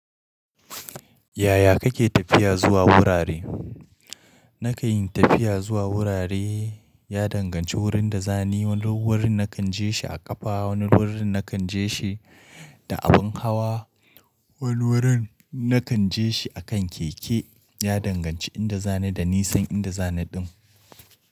Yaya kake tafiya zuwa wurare? Nakan yi tafiya zuwa wurare, ya danganci wurin da zani wani wurin nakan je shi a ƙafa, wani wurin nakan je shi da abin hawa, wani wurin nakan je shi a kan keke. Ya danganci inda zani da nisan inda zani din.